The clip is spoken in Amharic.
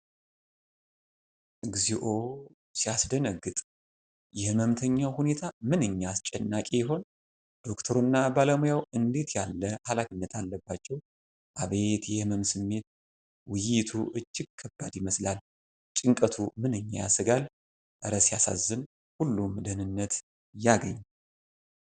እግዚኦ ሲያስደነግጥ! የሕመምተኛው ሁኔታ ምንኛ አስጨናቂ ይሆን! ዶክተሩና ባለሙያው እንዴት ያለ ኃላፊነት አለባቸው! አቤት የሕመም ስሜት! ውይይቱ እጅግ ከባድ ይመስላል። ጭንቀቱ ምንኛ ያሰጋል! እረ ሲያሳዝን! ሁሉም ደህንነት ያግኝ!